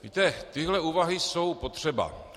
Víte, tyhle úvahy jsou potřeba.